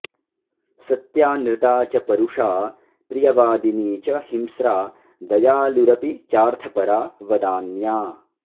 सत्यानृता च परुषा प्रियवादिनी च हिंस्रा दयालुरपि चार्थपरा वदान्या